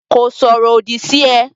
Kò sọ̀rọ̀ òdì sí ẹ.